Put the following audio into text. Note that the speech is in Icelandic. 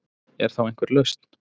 Er þá einhver lausn